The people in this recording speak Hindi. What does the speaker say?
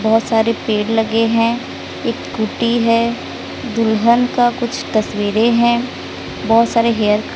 बहोत सारे पेड़ लगे हैं एक स्कूटी है दुल्हन का कुछ तस्वीरें हैं बहोत सारे हेयर --